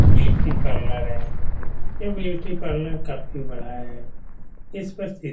Beauty parlour है। यह beauty parlour काफी बड़ा है। इस पर सी --